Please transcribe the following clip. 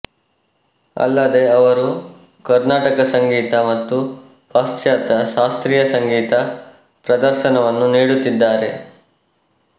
ಅಲ್ಲದೇ ಅವರು ಕರ್ನಾಟಕ ಸಂಗೀತ ಮತ್ತು ಪಾಶ್ಚಾತ್ಯ ಶಾಸ್ತ್ರೀಯ ಸಂಗೀತ ಪ್ರದರ್ಶನವನ್ನೂ ನೀಡುತ್ತಿದ್ದಾರೆ